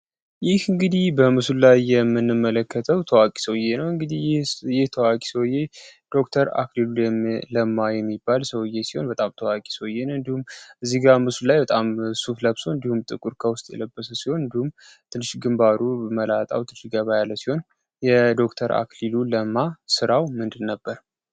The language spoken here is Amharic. ይህ እንግዲህ በምሱ ላይ የምንመለከተው ተዋቂ ሰውየ ነው እንግዲህ ይህ ተዋቂ ሰዬ ነዉ። ዶክተር አክሌሉ ለማ የሚባል ሰውየ ሲሆን በጣም ተዋቂ ሰየን እንዲሁም እዚጋ ምሱ ላይ በጣም ሱፍ ለብሶ እንዲሁም ጥቁር ከውስጥ የለበሰ ሲሆን እንዲሁም ትንሽግን ባሩ መላጣው ትጅገ ባያለ ሲሆን የዶተር አክሊሉ ለማ ሥራው ምንድ ነበር?